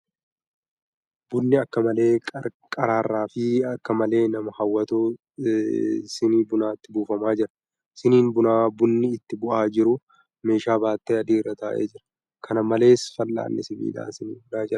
Bunni akka malee qarraraa fi akka malee nama hawwatu sinii bunaatti buufamaa jira. Siniin bunaa bunni itti bu'aa jiru meeshaa battee adii irra taa'ee jira. Kan malees , fal'aanni sibiilaa sinii bunaa jala taa'ee jira.